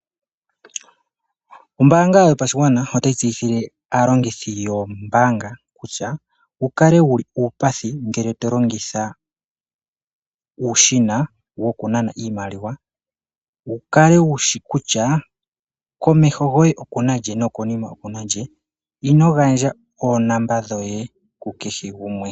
Ombaanga yopashigwana otayi tseyithile aalongithi yombaangaa kutya wukale wuli uupathi ngele tolongitha uushina wokunana iimaliwa, wukale wushi kutyaa komeho goye okuna lye nokonima okuna lye. Ino gandja oonamba dhoye kukehe gumwe.